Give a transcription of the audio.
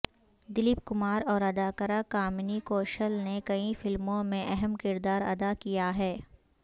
دلیپ کمار اور اداکارہ کامنی کوشل نے کئی فلموں میں اہم کردار ادا کیا ہے